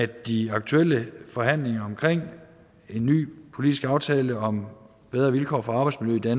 de aktuelle forhandlinger om en ny politisk aftale om bedre vilkår for arbejdsmiljø